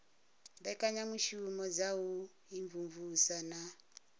mbekanyamushumo dza u imvumvusa na